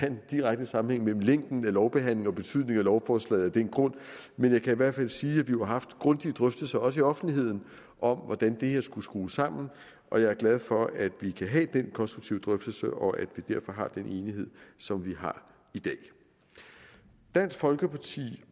en direkte sammenhæng mellem længden af lovbehandlingen og betydningen af lovforslaget af den grund men jeg kan i hvert fald sige at vi jo har haft grundige drøftelser også i offentligheden om hvordan det her skulle skrues sammen og jeg er glad for at vi kan have den konstruktive drøftelse og at vi derfor har den enighed som vi har i dag dansk folkeparti